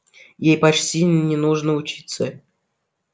ей почти не нужно учиться